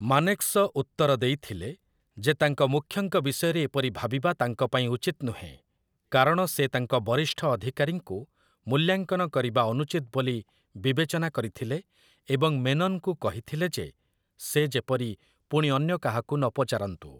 ମାନେକ୍‌ଶ ଉତ୍ତର ଦେଇଥିଲେ ଯେ ତାଙ୍କ ମୁଖ୍ୟଙ୍କ ବିଷୟରେ ଏପରି ଭାବିବା ତାଙ୍କ ପାଇଁ ଉଚିତ ନୁହେଁ, କାରଣ ସେ ତାଙ୍କ ବରିଷ୍ଠ ଅଧିକାରୀଙ୍କୁ ମୂଲ୍ୟାଙ୍କନ କରିବା ଅନୁଚିତ୍‌ ବୋଲି ବିବେଚନା କରିଥିଲେ, ଏବଂ ମେନନଙ୍କୁ କହିଥିଲେ ଯେ ସେ ଯେପରି ପୁଣି ଅନ୍ୟ କାହାକୁ ନପଚାରନ୍ତୁ ।